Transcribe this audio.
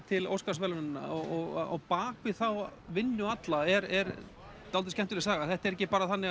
til Óskarsverðlauna og á bak við þá vinnu alla er skemmtileg saga þetta er ekki bara þannig